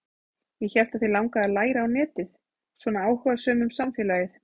Ég hélt að þig langaði að læra á netið, svona áhugasöm um samfélagið.